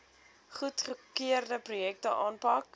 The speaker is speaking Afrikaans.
goedgekeurde projekte aanpak